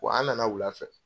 Wa an na na wula fɛ.